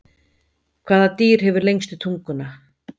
Hvaða dýr hefur lengstu tunguna?